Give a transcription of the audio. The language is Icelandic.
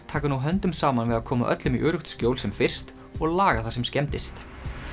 taka nú höndum saman við að koma öllum í öruggt skjól sem fyrst og laga það sem skemmdist